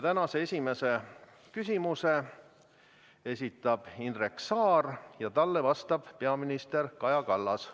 Tänase esimese küsimuse esitab Indrek Saar ja talle vastab peaminister Kaja Kallas.